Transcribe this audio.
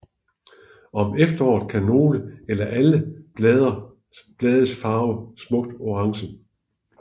Om efteråret kan nogle eller alle blade farves smukt orange